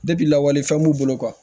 lawale fɛn b'u bolo